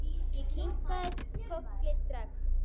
Ég kinkaði strax kolli.